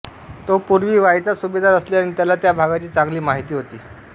तो पूर्वी वाईचा सुभेदार असल्याने त्याला त्या भागाची चांगली माहिती होती